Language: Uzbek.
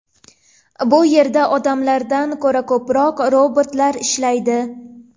Bu yerda odamlardan ko‘ra ko‘proq robotlar ishlaydi.